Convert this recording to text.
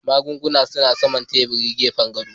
Magungunan suna saman teburin gefen gado